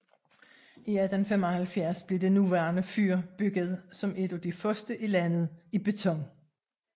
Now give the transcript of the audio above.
I 1875 blev det nuværende fyr bygget som et af de første i landet i beton